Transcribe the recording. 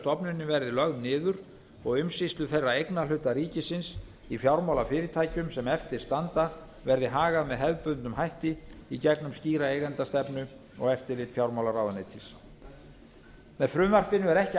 stofnunin verði lögð niður og umsýslu þeirra eignarhluta ríkisins í fjármálafyrirtæki sem eftir standa verði hagað með hefðbundnum hætti í gegnum skýra eigendastefnu og eftirlit fjármálaráðuneytis með frumvarpinu er ekki